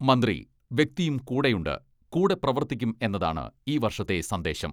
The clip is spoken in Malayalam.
മന്ത്രി വ്യക്തിയും കൂടെയുണ്ട് കൂടെ പ്രവർത്തിക്കും എന്നതാണ് ഈ വർഷത്തെ സന്ദേശം.